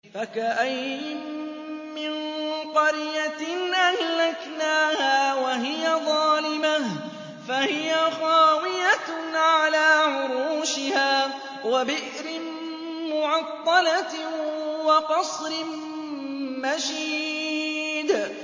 فَكَأَيِّن مِّن قَرْيَةٍ أَهْلَكْنَاهَا وَهِيَ ظَالِمَةٌ فَهِيَ خَاوِيَةٌ عَلَىٰ عُرُوشِهَا وَبِئْرٍ مُّعَطَّلَةٍ وَقَصْرٍ مَّشِيدٍ